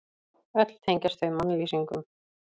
Öll tengjast þau mannlýsingum.